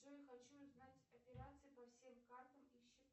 джой хочу узнать операции по всем картам и счетам